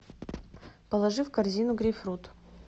положи в корзину грейпфрут